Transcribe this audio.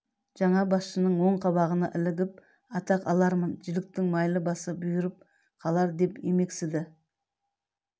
жаңа басшының оң қабағына ілігіп атақ алармын жіліктің майлы басы бұйырып қалар деп емексіді